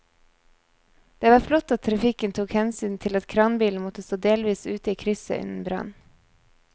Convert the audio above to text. Det var flott at trafikken tok hensyn til at kranbilen måtte stå delvis ute i krysset under brannen.